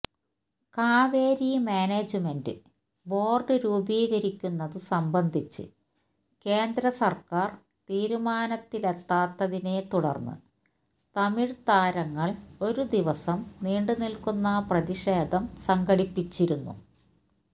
Kaveri management board രൂപീകരിക്കുന്നത് സംബന്ധിച്ച് കേന്ദ്രസർക്കാര് തീരുമാനത്തിലെത്താത്തതിനെ തുടർന്ന് തമിഴ് താരങ്ങൾ ഒരു ദിവസം നീണ്ടുനിൽക്കുന്ന പ്രതിഷേധം സംഘടിപ്പിച്ചിരുന്നു